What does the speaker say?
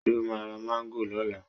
Ṣe o máa ra Máńgò lọ́la?